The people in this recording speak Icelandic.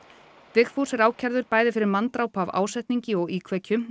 Vigfús er ákærður bæði fyrir manndráp af ásetningi og íkveikju